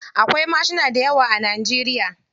Akwai mashina dayawa a Najeriya.